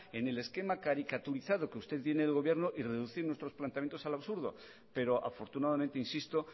en el esquema caricaturizado que usted tiene del gobierno y reducir nuestros planteamientos al absurdo pero afortunadamente insisto